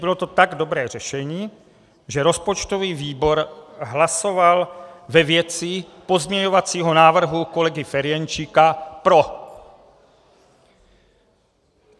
Bylo to tak dobré řešení, že rozpočtový výbor hlasoval ve věci pozměňovacího návrhu kolegy Ferjenčíka pro.